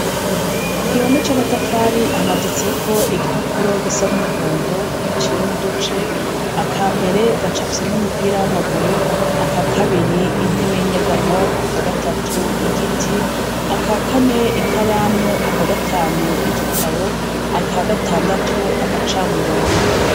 Kugihome c'amatafari hamaditseko ibipapuro gisa n'umuhondo giciyemw'uduce; akambere gacapfyemwo umupira w'amaguru, akakabiri intebe y'inyegamo, akagatatu igiti, akakane ikaramu, akagatanu igitabo, akagatandatu agacamurogo.